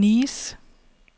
Nice